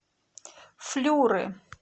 флюры